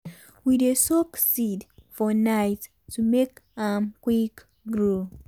we dey soak seed for night to make am grow quick.